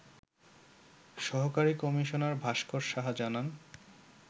সহকারী কমিশনার ভাস্কর সাহা জানান